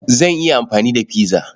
Zan iya amfani da pizza.